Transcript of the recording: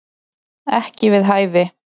Ekki við hæfi